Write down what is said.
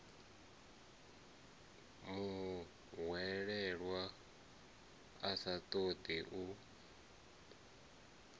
muhwelelwa a sa ṱoḓi u